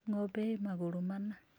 Ng'ombe ĩ magũrũ mana.